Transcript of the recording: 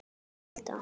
Þín Hulda.